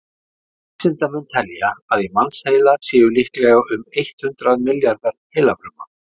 vísindamenn telja að í mannsheila séu líklega um eitt hundruð milljarðar heilafruma